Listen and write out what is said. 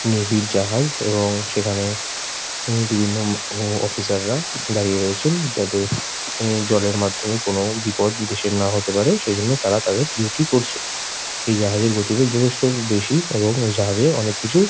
Navy -র জাহাজ এবং সেখানে এ উম বিভিন্ন ম হ অফিসার -রা দাঁড়িয়ে রয়েছেন যাতে এ জলের মাধ্যমে কোনোরকম বিপদ দেশের না হতে পারে সেইজন্য তারা তাদের ডিউটি করছে। এই জাহাজের গতিবেগ যথেষ্ট বেশী এবং এই জাহাজে অনেক কিছু--